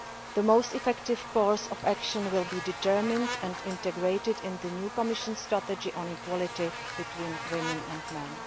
The most effective course of action will be determined and integrated in the new Commission strategy on equality between women and men.